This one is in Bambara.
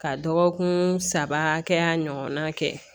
Ka dɔgɔkun saba hakɛya ɲɔgɔn na kɛ